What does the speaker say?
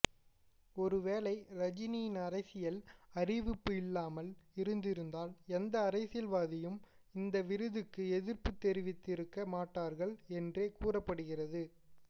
ஒருவேளை ரஜினியின் அரசியல் அறிவிப்பு இல்லாமல் இருந்திருந்தால் எந்த அரசியல்வாதியும் இந்த விருதுக்கு எதிர்ப்பு தெரிவித்திருக்க மாட்டார்கள் என்றே கூறப்படுகிறது